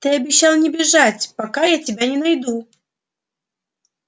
ты обещал не бежать пока я тебя не найду